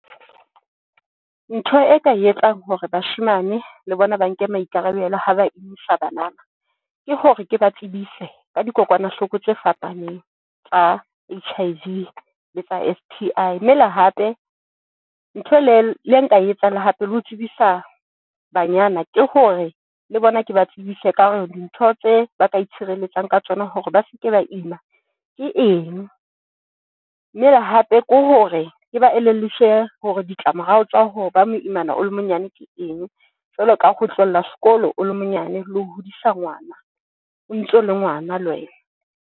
Ntho e ka e etsang hore bashemane le bona ba nke maikarabelo ha ba isa bana, ke hore ke ba tsebise ka dikokwanahloko tse fapaneng tsa H_I_V le tsa S_T_I mme le hape ntho le le nka etsahala hape le ho tsebisa banyana ke hore le bona ke ba tsebise ka hore dintho tse ba ka itshireletsa ka tsona hore ba seke ba ima ke eng. Mme hape ke hore ke ba elelliswe hore ditlamorao, tsa ho ba moimana o le monyane ke eng jwalo ka ho tlohela sekolo, o le monyane, le ho hodisa ngwana o ntso le ngwana le wena.